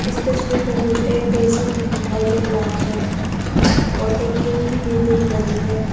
इस तस्वीर में मुझे एक बेसिन भी दिखाई दे रहा है और एक खिड़की भी दिख रही है।